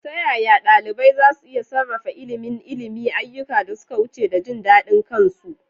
Ta yaya ɗalibai za su iya sarrafa ilimin ilimi, ayyukan da suka wuce, da jin daɗin kansu?